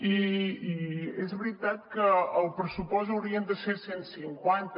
i és veritat que el pressupost haurien de ser cent i cinquanta